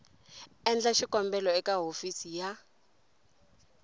endla xikombelo eka hofisi ya